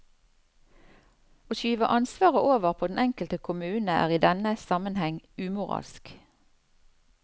Å skyve ansvaret over på den enkelte kommune er i denne sammenheng umoralsk.